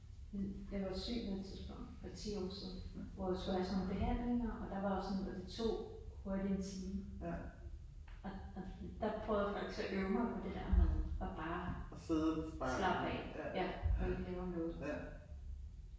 Ja jeg var syg på et tidspunkt for 10 år siden, hvor jeg skulle have sådan nogle behandlinger og der var også sådan altså 2 ryk i en time og og der prøvede jeg faktisk at øve mig på bare at slappe af og ikke lave noget